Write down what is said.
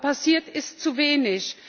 Aber passiert ist zu wenig.